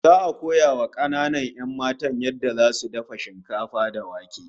Za'a koya wa kananan 'yan matan yadda zasu dafa shinkafa da wake